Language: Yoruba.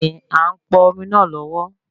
Béèni, a n pọn omi náà lọwọlọwọ